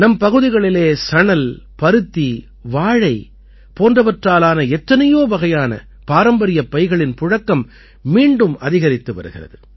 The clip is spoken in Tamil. நம் பகுதிகளிலே சணல் பருத்தி வாழை போன்றவற்றால் ஆன எத்தனையோ வகையான பாரம்பரியப் பைகளின் புழக்கம் மீண்டும் அதிகரித்து வருகிறது